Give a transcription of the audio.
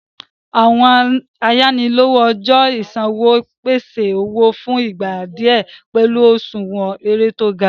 Àwọn àyànílòwò ọjọ́ ìṣanwọ́ ń pèsè owó fún ìgbà díẹ̀ pẹ̀lú òṣùwọ̀n èrè tó gá.